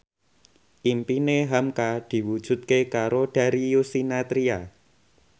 impine hamka diwujudke karo Darius Sinathrya